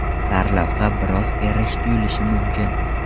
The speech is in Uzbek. Sarlavha biroz erish tuyulishi mumkin.